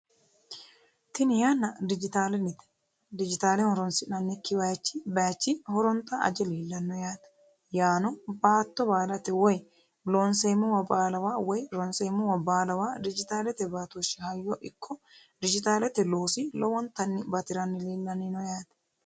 tini yanna dijitaalennite dijitaale horonsi'nannikki bayiichi horonta aje leelanno yaate yaano baatto baalate woy loosi'neemmowa baalawa woy ronseemmowa baalawa dijitaalete baatooshshi hayyo ikko dijitaalete loosi lowontanni batiranni leelanni no yaate.